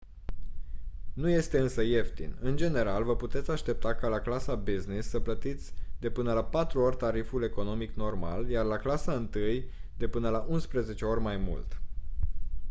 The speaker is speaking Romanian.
nu este însă ieftin în general vă puteți aștepta ca la clasa business să plătiți de până la patru ori tariful economic normal iar la clasa întâi de până la unsprezece ori mai mult